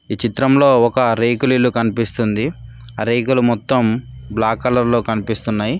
ఈ చిత్రంలో ఒక రేకులు ఇల్లు కనిపిస్తుంది ఆ రేకులు మొత్తం బ్లాక్ కలర్ లో కనిపిస్తున్నాయి.